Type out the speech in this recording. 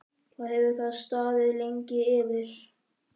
Hvað hefur það staðið lengi yfir?